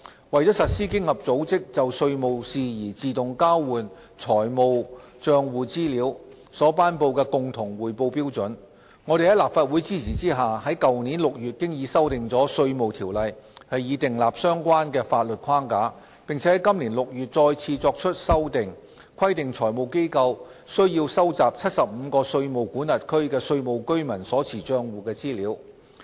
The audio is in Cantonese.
為實施經合組織就稅務事宜自動交換財務帳戶資料所頒布的共同匯報標準，我們在立法會的支持下，於去年6月已修訂了《稅務條例》以訂立相關的法律框架，並在今年6月再次作出修訂，規定財務機構須收集75個稅務管轄區的稅務居民所持帳戶的資料。